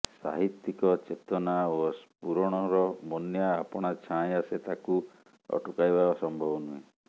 ସାହିତ୍ୟିକ ଚେତନା ଓ ସ୍ଫୁରଣର ବନ୍ୟା ଆପଣା ଛାଏଁ ଆସେ ତାକୁ ଅଟକାଇବା ସମ୍ଭବ ନୁହେଁ